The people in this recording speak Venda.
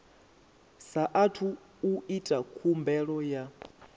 saathu u ita khumbelo ya